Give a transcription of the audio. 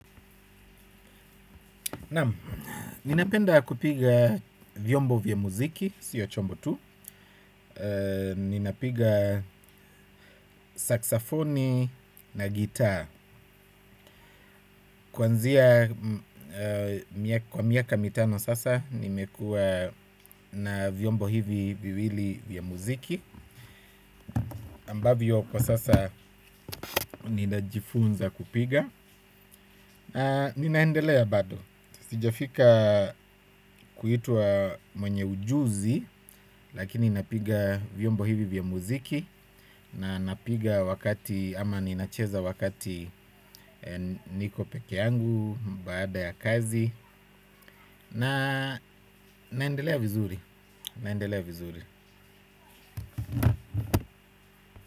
Naam, ninapenda kupiga vyombo vya muziki, sio chombo tu, ninapiga saksafoni na gitaa. Kuanzia kwa miaka mitano sasa nimekuwa na vyombo hivi viwili vya muziki. Ambavyo kwa sasa ninajifunza kupiga. Ninaendelea bado. Sijafika kuitwa mwenye ujuzi. Lakini napiga vyombo hivi vya muziki na napiga wakati ama ninacheza wakati niko peke yangu baada ya kazi. Na naendelea vizuri.